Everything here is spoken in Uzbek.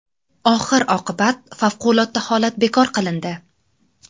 Oxir-oqibat favqulodda holat bekor qilindi.